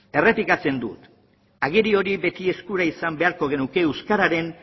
errepikatzen dut agiri hori beti eskura izan beharko genuke euskararen